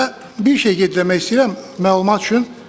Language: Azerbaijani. Və bir şeyi qeyd eləmək istəyirəm məlumat üçün.